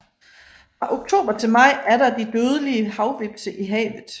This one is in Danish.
Fra oktober til maj er der de dødelige havhvepse i havet